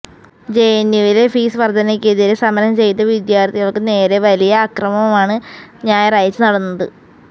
ജെഎന്യുവിലെ fees വര്ധനയ്ക്കെതിരെ സമരം ചെയ്ത വിദ്യാര്ത്ഥികള്ക്ക് നേരെ വലിയ അക്രമമാണ് ഞായറാഴ്ച നടന്നത്